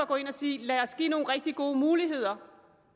gå ind og sige lad os give nogle rigtig gode muligheder